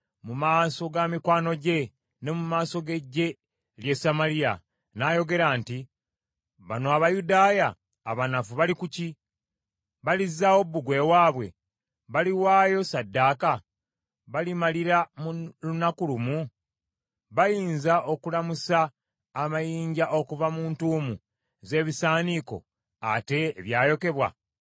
mu maaso ga mikwano gye ne mu maaso g’eggye ly’e Samaliya n’ayogera nti, “Bano Abayudaaya abanafu bali ku ki? Balizzaawo bbugwe waabwe? Baliwaayo ssaddaaka? Balimalira mu lunaku lumu? Bayinza okulamusa amayinja okuva mu ntuumu z’ebisaaniiko, ate ebyayokebwa?”